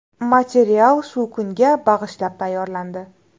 Material shu kunga bag‘ishlab tayyorlandi.